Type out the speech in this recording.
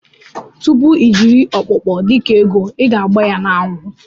Tupu ijiri okpokpo dika ego iga agba ya na anwụ.